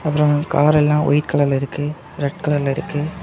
அப்புறம் காரெல்லாம் ஒயிட் கலர்ல இருக்கு ரெட் கலர்ல இருக்கு.